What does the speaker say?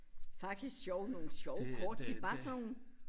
Faktisk sjove nogle sjove kort det bare sådan noget